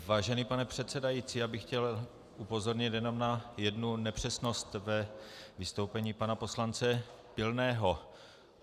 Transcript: Vážený pane předsedající, já bych chtěl upozornit jenom na jednu nepřesnost ve vystoupení pana poslance Pilného.